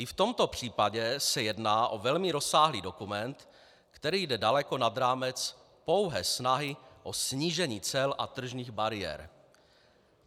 I v tomto případě se jedná o velmi rozsáhlý dokument, který jde daleko nad rámec pouhé snahy o snížení cel a tržních bariér.